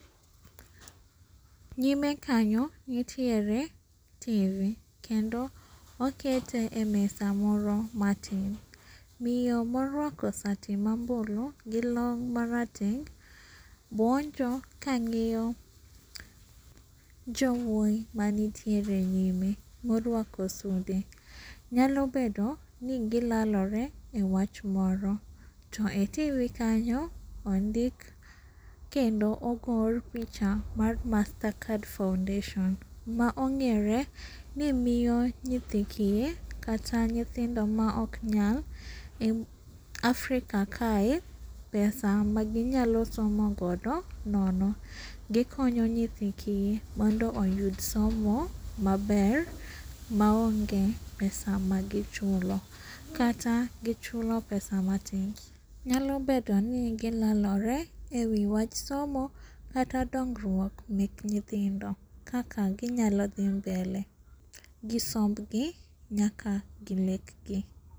Nyime kanyo nitiere tv kendo okete e mesa moro matin. Miyo moruako sati mambulu gi long' marateng' buonjo kang'iyo jowuoyi manitiere nyime moruako sude. Nyalo bedo ni gilelore e wach moro. To e tv kanyo ondik kendo ogor picha mar mastercard foundation. Maong'ere ni miyo nyithi kiye kata nyithindo maoknyal e Africa kae pesa maginyalo somo godo nono. Gikonyo nyithi kie mondo oyud somo maber maonge pesa magichulo, kata gichulo pesa matin. Nyalo bedoni gilelore ei wach somo kata dongruok mek nyithindo kaka ginyalo dhi mbele gi sombgi nyaka gi lekgi.